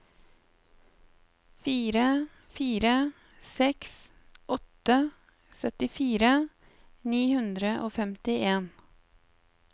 fire fire seks åtte syttifire ni hundre og femtien